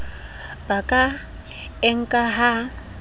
ba ka e nkang ha